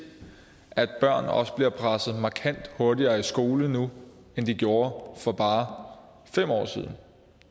at børn også bliver presset markant hurtigere i skole nu end de gjorde for bare fem år siden